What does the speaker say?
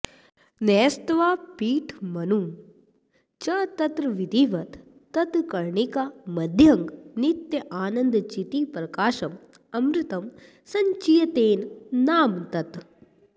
न्यस्त्वा पीठमनुं च तत्र विधिवत् तत्कर्णिकामध्यगं नित्यानन्दचितिप्रकाशममृतं संचिन्तयेन् नाम तत्